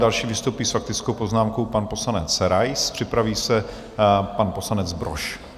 Další vystoupí s faktickou poznámkou pan poslanec Rais, připraví se pan poslanec Brož.